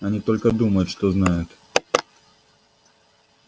они только думают что знают